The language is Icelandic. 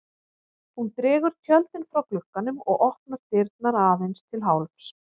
Hún dregur tjöldin frá glugganum og opnar dyrnar aðeins til hálfs.